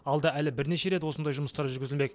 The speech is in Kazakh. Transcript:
алда әлі бірнеше рет осындай жұмыстар жүргізілмек